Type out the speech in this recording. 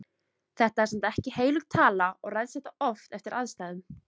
Þetta er samt ekki heilög tala og ræðst þetta oft eftir aðstæðum.